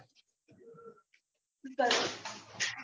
બસ